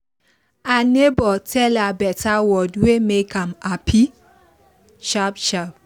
her neighbor tell her better word wey make am happy sharp sharp